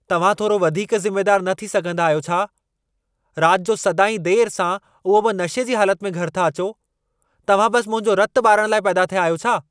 तव्हां थोरो वधीक ज़िमेदारु न थी सघंदा आहियो छा? रात जो सदाईं देरि सां उहो बि नशे जी हालत में घरि था अचो। तव्हां बस मुंहिंजो रतु ॿारण लाइ पैदा थिया आहियो।